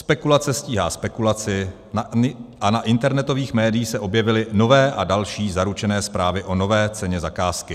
Spekulace stíhá spekulaci a na internetových médiích se objevily nové a další zaručené zprávy o nové ceně zakázky.